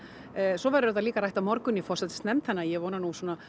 svo verður þetta líka rætt á morgun í forsætisnefnd þannig að ég vona